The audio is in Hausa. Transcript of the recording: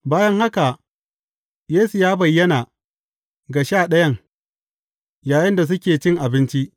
Bayan haka, Yesu ya bayyana ga Sha Ɗayan, yayinda suke cin abinci.